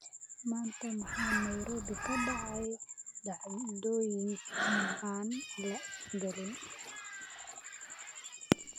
maanta waxaa nairobi ka dhacay dhacdooyin aan la galin